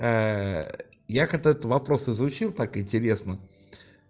я когда этот вопрос озвучил так интересно